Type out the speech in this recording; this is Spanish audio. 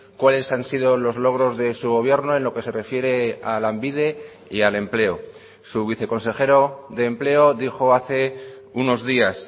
cuáles han sido los logros de su gobierno en lo que se refiere a lanbide y al empleo su viceconsejero de empleo dijo hace unos días